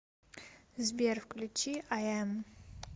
сбер включи айэм